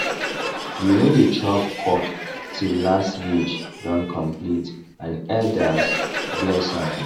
we no dey chop cock till last ridge don complete and elders bless am